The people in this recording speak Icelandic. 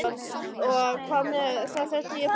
Og hvað með það þótt ég færi að gráta?